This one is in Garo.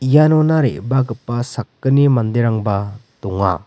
ianona re·bagipa sakgni manderangba donga.